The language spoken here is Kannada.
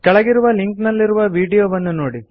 ಕೆಳಗಿರುವ ಲಿಂಕ್ ನಲ್ಲಿರುವ ವೀಡಿಯೊವನ್ನು ನೋಡಿ